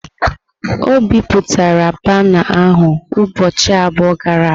O bipụtara bana ahu ụbọchị abụọ gara aga.